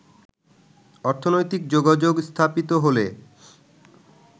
অর্থনৈতিক যোগাযোগ স্থাপিত হলে